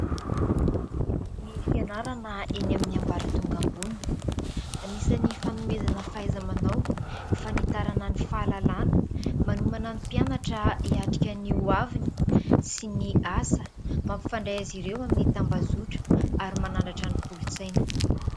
Ny fianarana eny amin'ny ambaratonga ambony : anisany fanomezana fahaiza-manao, fanitarana ny fahalalàna, manomana ny mpianatra hiatrika ny hoaviny sy ny asa, mampifandray azy ireo amin'ny tambazotra ary manandratra ny kolontsaina.